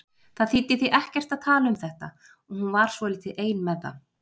Það þýddi því ekkert að tala um þetta og hún var svolítið ein með það.